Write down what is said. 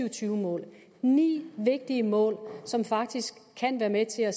og tyve mål ni vigtige mål som faktisk kan være med til at